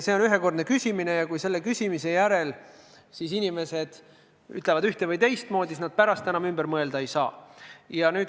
See on ühekordne küsimine ja inimesed pärast enam ümber mõelda ei saa.